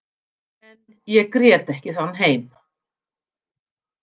En ég grét ekki þann heim.